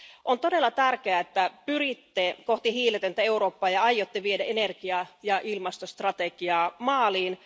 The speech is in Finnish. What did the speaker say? On todella tärkeää, että pyritte kohti hiiletöntä Eurooppaa ja aiotte viedä energia ja ilmastostrategiaa maaliin.